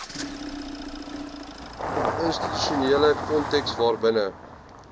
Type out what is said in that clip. institusionele konteks waarbinne